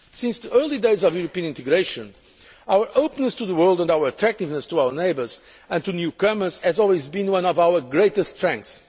Since the early days of European integration, our openness to the world and our attractiveness to our neighbours and to newcomers has always been one of our greatest strengths.